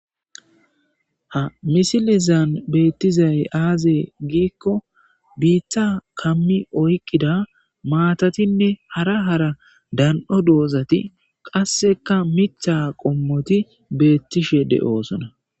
Ha misilezan beetizay aazee giiko biiththa kammi oyqida maatatinne hara hara dan'o doozati qassekka miththa qommoti beetishe de'oosona